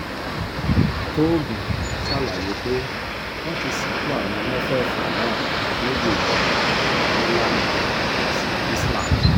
tóògùn ṣàlàyé pé wọ́n ti sìnkú àwọn mẹ́fẹ̀ẹ̀fà náà nílùú ìlọrin nílànà ẹ̀sìn islam